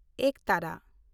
ᱮᱠᱛᱟᱨᱟ